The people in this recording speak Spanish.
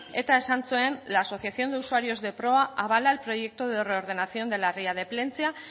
eta esan zuen eta esan zuen la asociación de usuarios de proa avala al proyecto de reordenación de la ría de plentzia